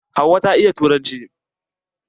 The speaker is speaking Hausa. Hauwa ta iya turanci.